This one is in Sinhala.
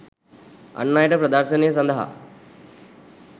අන් අයට ප්‍රදර්ශනය සඳහා